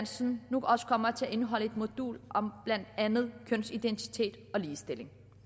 så den nu også kommer til at indeholde et modul om blandt andet kønsidentitet og ligestilling